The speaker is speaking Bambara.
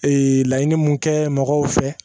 Ee laɲini mun kɛ mɔgɔw fɛ